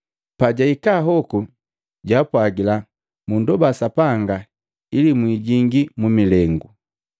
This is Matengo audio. Pajahika hoku jaapwagila, “Mundoba Sapanga ili mwijingii mu milengu.”